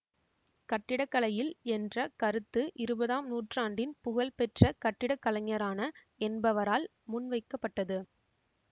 கட்டிடக்கலையில் என்ற கருத்து இருபதாம் நூற்றாண்டின் புகழ் பெற்ற கட்டிடக்கலைஞரான என்பவரால் முன்வைக்கப்பட்டது